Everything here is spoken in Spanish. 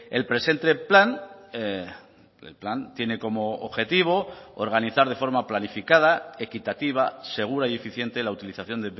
el presente plan el plan tiene como objetivo organizar de forma planificada equitativa segura y eficiente la utilización